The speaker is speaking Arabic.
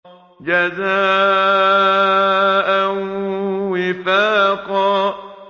جَزَاءً وِفَاقًا